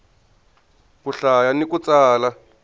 ku hlaya ni ku tsala